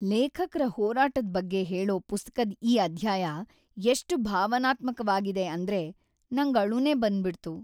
ಲೇಖಕ್ರ ಹೋರಾಟದ್ ಬಗ್ಗೆ ಹೇಳೋ ಪುಸ್ತಕದ್ ಈ ಅಧ್ಯಾಯ ಎಷ್ಟ್ ಭಾವನಾತ್ಮಕ್ವಾಗಿದೆ ಅಂದ್ರೆ ನಂಗ್‌ ಅಳುನೇ ಬಂದ್ಬಿಡ್ತು.